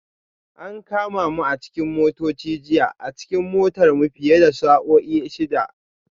An kama mu a cikin motoci jiya a cikin motar mu fiye da sa'o'i shida